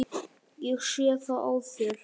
Ég sé það á þér.